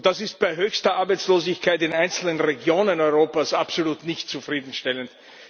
Das ist bei höchster Arbeitslosigkeit in einzelnen Regionen Europas absolut nicht zufriedenstellend.